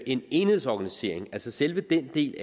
en enhedsorganisering altså selve den del